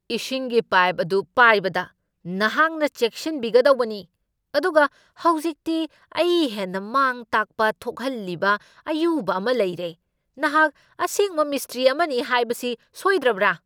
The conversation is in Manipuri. ꯏꯁꯤꯡꯒꯤ ꯄꯥꯏꯞ ꯑꯗꯨ ꯄꯥꯏꯕꯗ ꯅꯍꯥꯛꯅ ꯆꯦꯛꯁꯤꯟꯕꯤꯒꯗꯧꯕꯅꯤ, ꯑꯗꯨꯒ ꯍꯧꯖꯤꯛꯇꯤ ꯑꯩ ꯍꯦꯟꯅ ꯃꯥꯡ ꯇꯥꯛꯄ ꯊꯣꯛꯍꯜꯂꯤꯕ ꯑꯌꯨꯕ ꯑꯃ ꯂꯩꯔꯦ, ꯅꯍꯥꯛ ꯑꯁꯦꯡꯕ ꯃꯤꯁꯇ꯭ꯔꯤ ꯑꯃꯅꯤ ꯍꯥꯏꯕꯁꯤ ꯁꯣꯏꯗ꯭ꯔꯕꯥ?